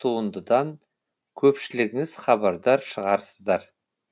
туындыдан көпшілігіңіз хабардар шығарсыздар